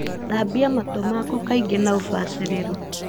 Thambia matũ maku kaingĩ na ũbacĩrĩru.